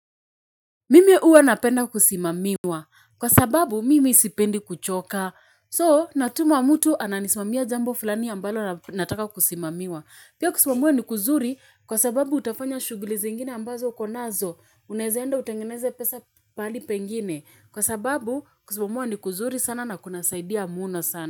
Mimi uwa napenda kusimamiwa. Kwa sababu mimi sipendi kuchoka. So natuma mtu ananismamia jambo fulani ambalo nataka kusimamiwa. Pia kusimamiwa ni kuzuri kwa sababu utafanya shuguli zingine ambazo uko nazo. Unaeza enda utengeneze pesa pahali pengine. Kwa sababu kusimamiwa ni kuzuri sana na kuna saidia muna sana.